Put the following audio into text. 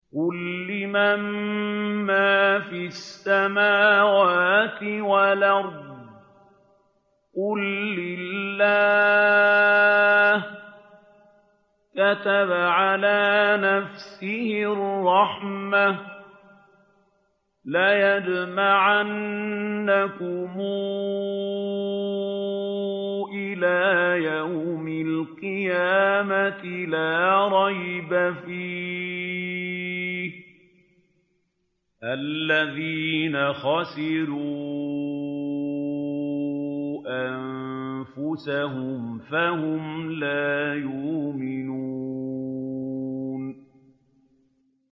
قُل لِّمَن مَّا فِي السَّمَاوَاتِ وَالْأَرْضِ ۖ قُل لِّلَّهِ ۚ كَتَبَ عَلَىٰ نَفْسِهِ الرَّحْمَةَ ۚ لَيَجْمَعَنَّكُمْ إِلَىٰ يَوْمِ الْقِيَامَةِ لَا رَيْبَ فِيهِ ۚ الَّذِينَ خَسِرُوا أَنفُسَهُمْ فَهُمْ لَا يُؤْمِنُونَ